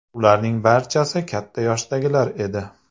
Ularning barchasi katta yoshdagilar edi.